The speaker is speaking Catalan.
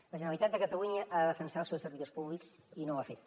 la generalitat de catalunya ha de defensar els seus servidors públics i no ho ha fet